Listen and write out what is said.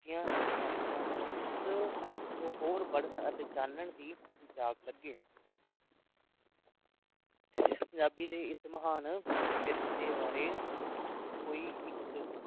ਗੀਆਂ ਇਸ ਵੰਨਗੀਆਂ ਨੂ ਉਸ ਨੂੰ ਹੋਰ ਪੜਨ ਅਤੇ ਜਾਨਣ ਦੀ ਹੀਜਾਤ ਲੱਗੇ ਪੰਜਾਬੀ ਦੇ ਇਸ ਮਹਾਨ ਵਿਰਸੇ ਬਾਰੇ ਕੋਈ ਇੱਕ